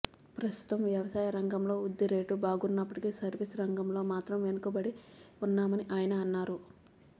ప్రస్తుతం వ్యవసాయ రంగంలో వృద్ధిరేటు బాగున్నప్పటికీ సర్వీస్ రంగంలో మాత్రం వెనుకబడి ఉన్నామని ఆయన అన్నారు